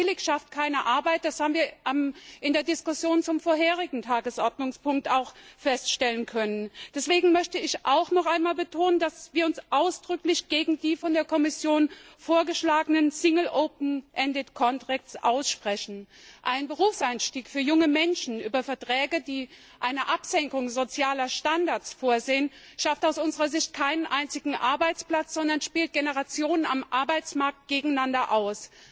Und billig schafft keine Arbeit. Das haben wir auch in der Diskussion zum vorherigen Tagesordnungspunkt feststellen können. Deswegen möchte ich noch einmal betonen, dass wir uns ausdrücklich gegen die von der Kommission vorgeschlagenen single open ended contracts aussprechen. Ein Berufseinstieg für junge Menschen über Verträge, die eine Absenkung sozialer Standards vorsehen, schafft aus unserer Sicht keinen einzigen Arbeitsplatz, sondern spielt Generationen am Arbeitsmarkt gegeneinander aus.